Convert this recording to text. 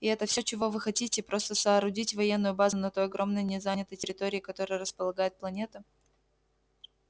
и это все чего вы хотите просто соорудить военную базу на той огромной незанятой территории которой располагает планета